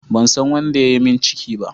Ban san wanda ya yi min ciki ba.